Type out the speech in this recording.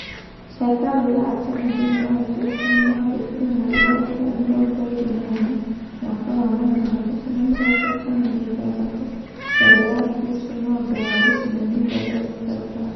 Hekarũ ya Artemi thĩinĩ wa Efeso nĩ yathũkirio mweri wa Juraĩ mĩrongo ĩĩrĩ na imwe, mwaka wa magana matatũ ma mĩrongo ĩtano na ithathatu[356] mbere ya Kristo na ũndũ wa gũcinwo nĩ Herostratus.